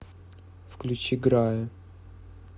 включи грая